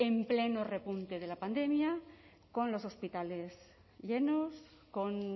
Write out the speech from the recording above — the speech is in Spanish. en pleno repunte de la pandemia con los hospitales llenos con